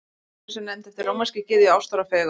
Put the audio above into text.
Venus er nefnd eftir rómverskri gyðju ástar og fegurðar.